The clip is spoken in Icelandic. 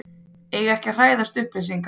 Eiga ekki að hræðast upplýsingar